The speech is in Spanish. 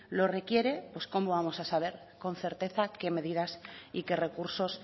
lo requiere pues cómo vamos a saber con certeza qué medidas y qué recursos